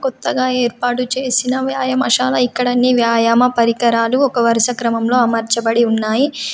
కొత్తగా ఏర్పాటు చేసిన వ్యాయామశాల. ఇక్కడ అన్ని వ్యాయామ పరికరాలు ఒక వరుస క్రమంలో అమర్చబడి ఉన్నాయి.